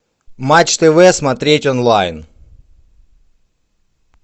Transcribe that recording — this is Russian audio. матч тв смотреть онлайн